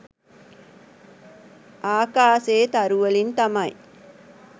ආකාසේ තරුවලින් තමයි